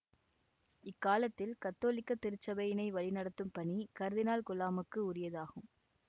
இக்காலத்தில் கத்தோலிக்க திருச்சபையினை வழிநடத்தும் பணி கர்தினால் குழாமுக்கு உரியது ஆகும்